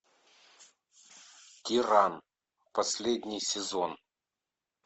тиран последний сезон